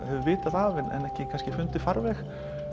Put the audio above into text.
hefur vitað af en ekki fundið farveg